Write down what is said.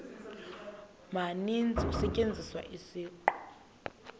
maninzi kusetyenziswa isiqu